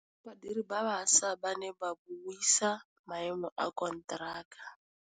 Badiri ba baša ba ne ba buisa maêmô a konteraka.